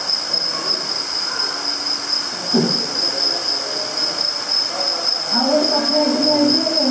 ଆଉ ଗୋଟେ କଥା ଏଇଠି ଭାଇ ଯେ